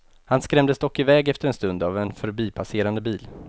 Han skrämdes dock iväg efter en stund av en förbipasserande bil.